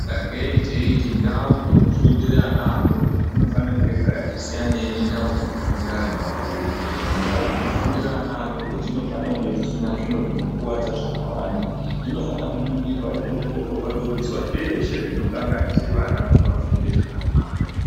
Sake teiti ndau dzino fundire ana adoko dzino fane kunge dzakati siyanei ne ndau dzino fundira antu akuru ndau dzino fundira ana adoko dzinofana kunge dzisina zviro zvino kwadza zvaka wanda dzino fana ku ningirwa dzo ongororwa dzobvisa zveshe zvino kanganise vana kuti vafunde zvakanaka.